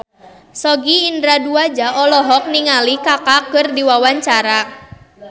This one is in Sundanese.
Sogi Indra Duaja olohok ningali Kaka keur diwawancara